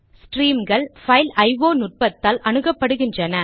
ஸ்ட்ரீம்கள் file IO நுட்பத்தால் அணுகப்படுகின்றன